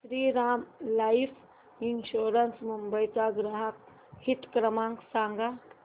Shriram life insurance Mumbai चा ग्राहक हित क्रमांक सांगा